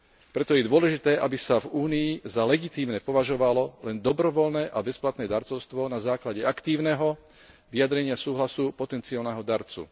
Preto je dôležité, aby sa v Únii za legitímne považovalo len dobrovoľné a bezplatné darcovstvo na základe aktívneho vyjadrenia súhlasu potenciálneho darcu.